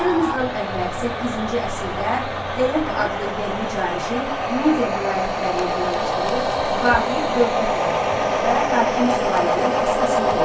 Eramızdan əvvəl səkkizinci əsrdə Deok adlı yerli canişin Midia vilayətlərini birləşdirib vahid dövlət yaratdı və hakim sülalənin əsasını qoydu.